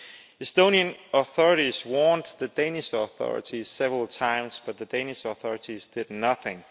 The Estonian authorities warned the Danish authorities several times but the Danish authorities did nothing.